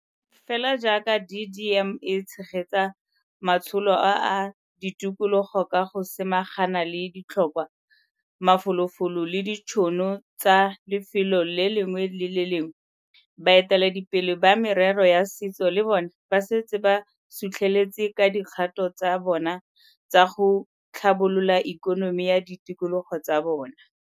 Fela jaaka DDM e tshegetsa matsholo a a ditikologo ka go samaganang le ditlhokwa, mafolofolo le ditšhono tsa lefelo le lengwe le le lengwe, baeteledipele ba merero ya setso le bona ba setse ba su tlheletse ka dikgato tsa bona tsa go tlhabolola ikonomi ya ditikologo tsa bona.